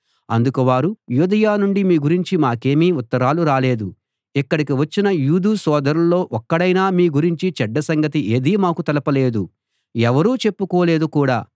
అందుకు వారు యూదయ నుండి మీ గురించి మాకేమీ ఉత్తరాలు రాలేదు ఇక్కడికి వచ్చిన యూదు సోదరుల్లో ఒక్కడైనా మీ గురించి చెడ్డ సంగతి ఏదీ మాకు తెలుపలేదు ఎవరూ చెప్పుకోలేదు కూడా